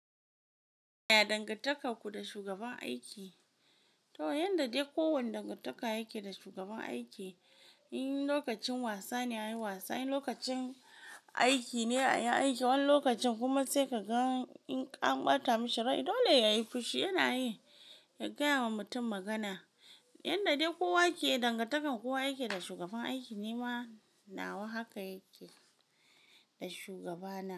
Ya dangantakar ku da shugaban aiki? To yanda dai kowane dangantaka yake da shugaban aiki, in lokacin wasa ne a yi wasa, in lokacin aiki ne a yi aiki, wani lokacin kuma sai ka ga in an ɓata mishi rai dole yayi fushi yana yi ya gaya wa mutum magana. Yanda dai kowa yake dangantakar kowa yake da shugaban aiki nima nawa haka yake da shugaba na.